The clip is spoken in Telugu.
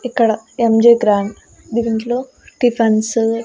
ఇక్కడ ఎం జి గ్రాండ్ దిరింట్లో టిఫెన్సు --